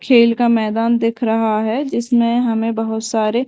खेल का मैदान दिख रहा है जिसमें हमे बहोत सारे--